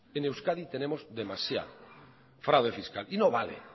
en euskadi tenemos demasiado fraude fiscal y no vale